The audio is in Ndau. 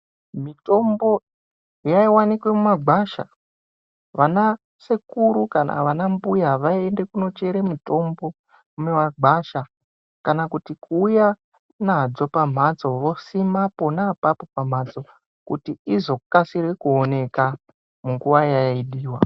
Mitombo yayiwanikwe mumagwasha. Vana sekuru kana vanambuya vayiyende kunochere mitombo, mumagwasha kana kuti kuwuya nadzo pamhatso, vosima pona apapo pamhatso kuti izokasire kuwoneka munguwa yayidiwa.